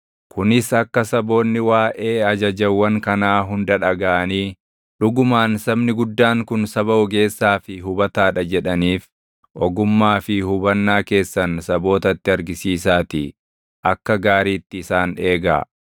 Kunis akka saboonni waaʼee ajajawwan kanaa hunda dhagaʼanii, “Dhugumaan sabni guddaan kun saba ogeessaa fi hubataa dha” jedhaniif ogummaa fi hubannaa keessan sabootatti argisiisaatii akka gaariitti isaan eegaa.